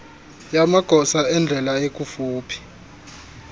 yamagosa endlela ekufuphi